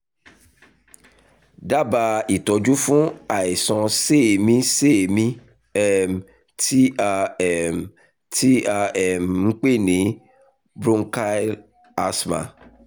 dábàá ìtọ́jú fún àìsàn séèémí-séèémí um tí a um tí a um ń pè ní bronchial asthma